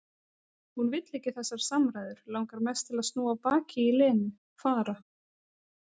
Hún vill ekki þessar samræður, langar mest til að snúa baki í Lenu, fara.